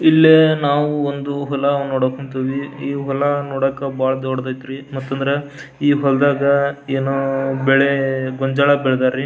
ಇಲ್ಲಿ ನಾವು ಒಂದು ಹೊಲ ನೋಡಕ್ ಹೊಂಟಿವಿ ಈ ಹೊಲ ನೋಡಾಕ ಬಹಳ ದೊಡ್ಡದೈತ್ರಿ ಮತ್ತ ಈ ಹೊಲ್ದಾಗ ಏನೋ ಬೇಳೆ ಬೆಳ್ದರಿ .